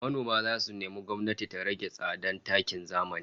Manoma zasu nemi gwamnati ta rage tsadan takin zamani